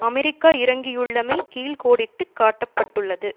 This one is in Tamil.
அமெரிக்கா இறங்கியுள்ளமை கீழ்கோடிட்டுக் காட்ட பட்டுள்ளது